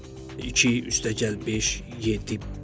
İki üstəgəl beş, yeddi.